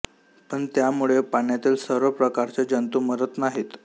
पण त्यामुळे पाण्यातील सर्व प्रकारचे जंतू मरत नाहीत